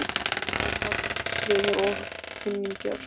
Það fengu allir áfall, vinir og kunningjar.